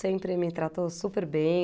Sempre me tratou super bem.